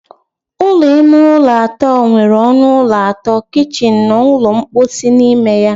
Ụlọ ime ụlọ atọ nwere ọnụ ụlọ atọ, kichin na ụlọ mposi n'ime ya.